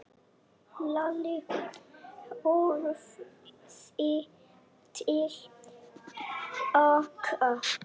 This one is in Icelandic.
Lalli horfði til baka.